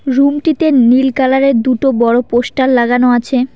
রুমটিতে নীল কালার -এর দুটো বড়ো পোস্টার লাগানো আছে।